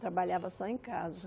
Trabalhava só em casa.